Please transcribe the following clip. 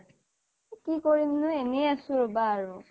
কি কৰিমনো এনেই আছোঁ ৰবা আৰু